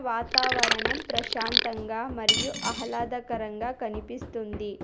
వాతావరణం ప్రశాంతంగా మరియు అహ్లాదకరంగా కనిపిస్తుంది.